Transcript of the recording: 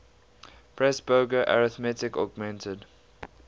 presburger arithmetic augmented